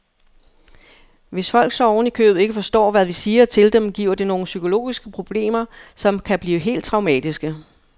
Hvis folk så oven i købet ikke forstår, hvad vi siger til dem, giver det nogle psykologiske problemer, som kan blive helt traumatiske.